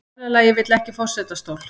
Bræðralagið vill ekki forsetastól